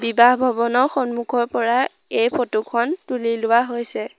বিবাহ ভৱনৰ সম্মুখৰ পৰা এই ফটো খন তুলি লোৱা হৈছে।